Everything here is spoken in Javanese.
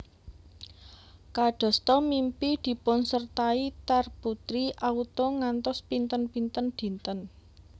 Kadasta mimpi dipunsertai tar putri auto ngantos pinten pinten dinten